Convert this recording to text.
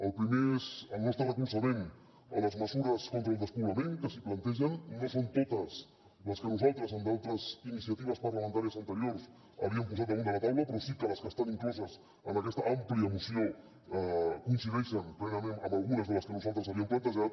el primer és el nostre recolzament a les mesures contra el despoblament que s’hi plantegen no són totes les que nosaltres en d’altres iniciatives parlamentàries anteriors havíem posat damunt de la taula però sí que les que estan incloses en aquesta àmplia moció coincideixen plenament amb algunes de les que nosaltres havíem plantejat